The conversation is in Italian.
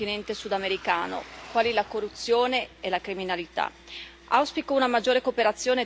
Gravi problemi affliggono il continente sudamericano, quali la corruzione e la criminalità.